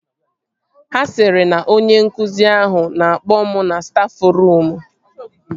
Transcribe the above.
Ha sịrị na onye nkụzi ahụ na-akpọ m na stafruum